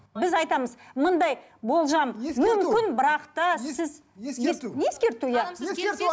біз айтамыз мындай болжам бірақ та сіз ескерту иә ескерту